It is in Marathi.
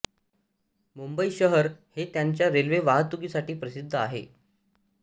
मुंबई शहर हे त्याच्या रेल्वे वाहतुकीसाठी प्रसिद्ध आहे